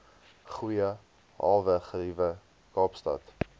goeie hawegeriewe kaapstad